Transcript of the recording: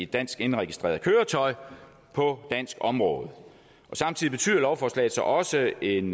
dansk indregistreret køretøj på dansk område samtidig betyder lovforslaget så også en